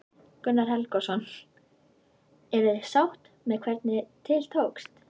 Gunnar Helgason: Eruð þið sátt með hvernig til tókst?